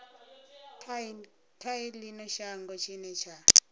kha ino shango tshine tsha